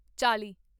ਚਾਲੀ